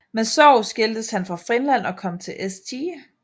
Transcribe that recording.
Med sorg skiltes han fra Finland og kom til St